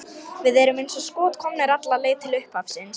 Við erum eins og skot komnir alla leið til upphafsins.